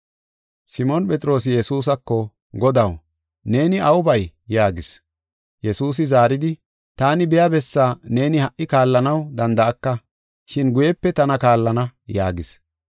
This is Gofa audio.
Simoon Phexroosi Yesuusako, “Godaw, neeni aw bay?” yaagis. Yesuusi zaaridi, “Taani biya bessaa neeni ha77i kaallanaw danda7aka, shin guyepe tana kaallana” yaagis.